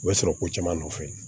U bɛ sɔrɔ ko caman nɔfɛ